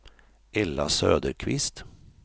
Ella Söderqvist